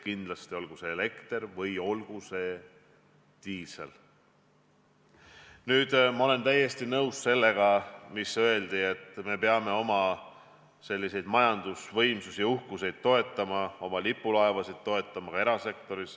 Ma olen täiesti nõus sellega, et me peame oma majandusuhkusi, lipulaevasid toetama – ka erasektoris.